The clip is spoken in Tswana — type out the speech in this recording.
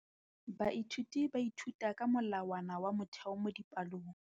Baithuti ba ithuta ka molawana wa motheo mo dipalong.